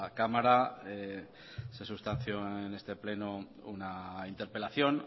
cámara se sustanció en este pleno una interpelación